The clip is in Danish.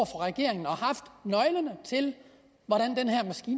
regeringen og haft nøglerne til hvordan